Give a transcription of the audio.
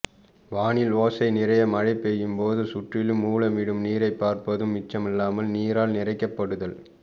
வானில் ஓசை நிறைய மழைபெய்யும்போது சுற்றிலும் ஓலமிடும் நீரை பார்ப்பது மிச்சமில்லாமல் நீரால் நிறைக்கப்படுதல்